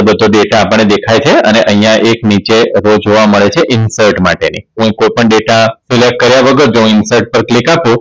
બધો data આપણને દેખાય છે અને અહીંયા એકે નીચે રોજ જોવા મળે છે Import માટેની કોઈ પણ dataSelect કાર્ય વગર જો Insert પર Click આપો